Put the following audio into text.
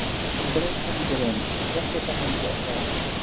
Hann greip fram í fyrir henni: Ég þekki þessa manngerð, það er allt og sumt